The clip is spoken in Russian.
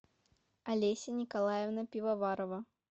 олеся николаевна пивоварова